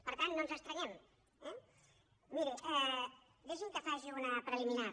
per tant no ens estranyem eh miri deixi’m que faci una preliminar